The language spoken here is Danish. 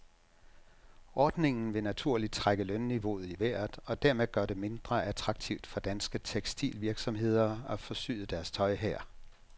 Ordningen vil naturligt trække lønniveauet i vejret og dermed gøre det mindre attraktivt for danske tekstilvirksomheder at få syet deres tøj her.